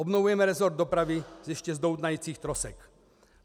Obnovujeme rezort dopravy ještě z doutnajících trosek.